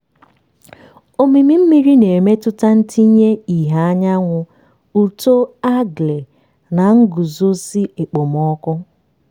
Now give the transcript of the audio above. omimi mmiri na-emetụta ntinye ìhè anyanwụ uto algae na nguzozi okpomọkụ.